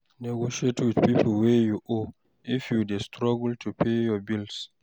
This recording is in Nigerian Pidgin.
Negotiate wit pipo wey you owe, if you dey struggle to pay your bills